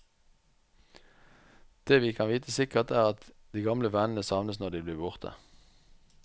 Det vi kan vite sikkert, er at de gamle vennene savnes når de blir borte.